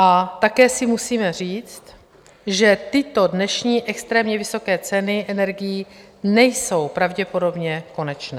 A také si musíme říct, že tyto dnešní extrémně vysoké ceny energií nejsou pravděpodobně konečné.